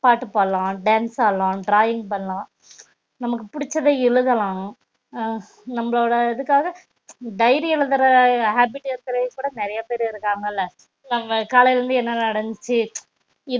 பாட்டு பாடலாம் dance ஆடலாம் drawing பண்ணலாம் நமக்கு புடிச்சத எழுதலாம் அஹ் நம்போலோட இதுக்காக dairy எழுதுற habbit நெறையா பேரு இருகாங்கல காலையில இருந்து என்ன நடந்துச்சி